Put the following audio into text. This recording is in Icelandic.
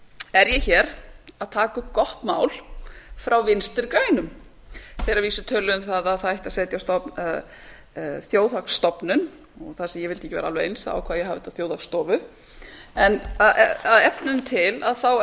er ég hér að taka upp gott mál frá vinstri grænum þeir að vísu töluðu um það að það ætti að setja á stofn þjóðhagsstofnun og þar sem ég vildi ekki vera alveg eins ákvað ég að hafa þetta þjóðhagsstofu en að efninu til